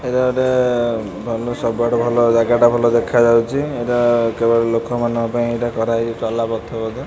ଏଇଟା ଗୋଟେ ବନୁ ସବୁଆଡୁ ଭଲ ଜାଗାଟା ଭଲ ଦେଖାଯାଉଚି। ଏଇଟା କେବଳ ଲୋକମାନଙ୍କ ପାଇଁ ଏଇଟା କରାହେଇଚି ଚଲାପଥ ବୋଧେ --